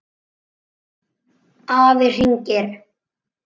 Afi hringir